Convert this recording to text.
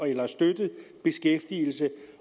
eller i støttet beskæftigelse